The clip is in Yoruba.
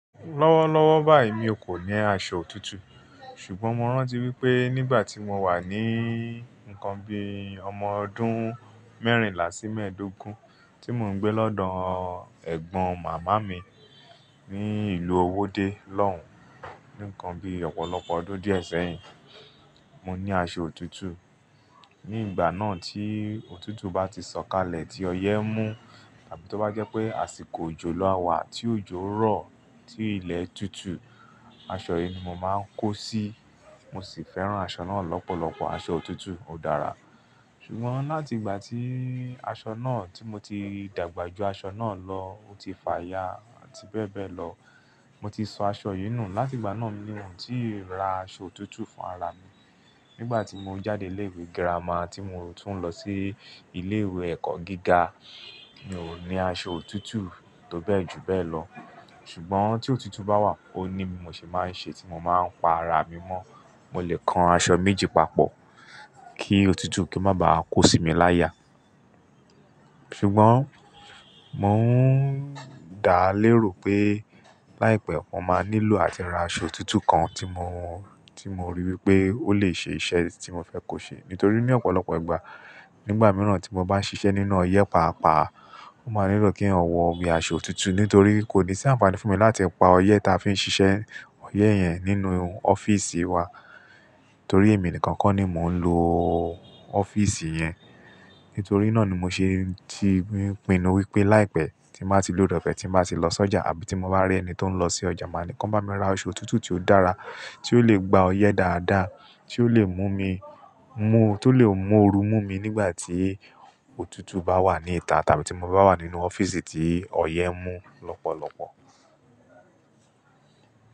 Lọ́wọ́lọ́wọ́ báyì mi ò kó ní aṣọ òtútù. Ṣùgbọ́n mo rántí wípé nígbàtí mo wà ní ǹkan bí ọmọ ọdún mẹ́rìnlá sí mẹ́ẹ̀dógún, tí mò ń gbé lọ́dọ̀ ẹ̀gbọ́n màmá mi ní ìlú Owódé lọ́hùn, nǹkan bí ọ̀pọ̀lọpọ̀ ọdún díẹ̀ sẹ́yìn, mo ní aṣọ òtútù. Nígbà náà tí òtútù bá ti sọ̀kalẹ̀ tí ọyẹ́ mú tàbí tó bá jẹ́ pé àsìkò òjò la wá tí òjò rọ̀ tí ilẹ̀ tutù, aṣọ yì ni mo máa ń kó sí, mo sì fẹ́ràn aṣọ náà lọ́pọ̀lọpọ̀, aṣọ òtútù ò dára. Ṣùgbọ́n láti ìgbà tí aṣọ náà tí mo ti dàgbà ju aṣọ náà lọ, ó ti fàya àti bẹ́ẹ̀ bẹ́ẹ̀ lọ, mo ti sọ aṣọ yì nù láti ìgbà náà ní mò ń tí ì ra aṣọ òtútù fún ara mi. Nígbà tí mo jáde ilé ìwé girama tí mò ń tún lọ sí ilé ìwé ẹ̀kọ́ gíga, mi ò ní aṣọ òtútù tó bẹ́ẹ̀ jù bẹ́ẹ̀ lọ. Ṣùgbọ́n tí òtútù bá wà ó ní mi mò ṣe máa ń ṣe tí mo máa ń pa ara mi mọ́, mò lè kan aṣọ méjì papọ̀ kí òtútù kì o má bá kó sì mi láya. Ṣùgbọ́n mò ń dá léèrò pé láìpẹ́ mo máa nílò àti ra aṣọ òtútù kan tí mo, tí mo rí wípé ó lè ṣe iṣẹ́ tí mo fẹ́ kó ṣe. Nítorí ní ọ̀pọ̀lọpọ̀ ìgbà, nígbà mìíràn tí mo bá ń ṣiṣẹ́ nínú ọyẹ́ pàápàá, mó máa nílò kí n wọ bí i aṣọ òtútù nítorí kò ní sí àǹfààní fún mi láti pa ọyẹ́ tí a fi ń ṣiṣẹ́, ọyẹ́ yẹn nínú ọ́fíísì wa torí èmi nìkan kọ́ ni mò ń lo ọ́fíísì yẹn. Nítorí náà ni mo ṣe ti ń pinnu wípé láìpẹ́ tí màá ti ba ni ore ọ̀fẹ́ tí màá ti lọ sọ́jà àbí tí mo bá rí ẹni tó ń lọ sí ọjà, màá ní kí ó bá mi ra aṣọ òtútù tí ó dára tí ó lè gba ọyẹ́ dáadáa tí ó lè mú mi, mú tó lè mú ooru mú mi nígbà tí òtútù bá wà ní ìta tàbí tí mo bá wà nínú ọ́fíísì tí ọyẹ́ mú lọ́pọ̀lọpọ̀.